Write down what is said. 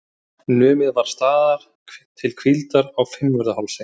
Numið var staðar til hvíldar á Fimmvörðuhálsi.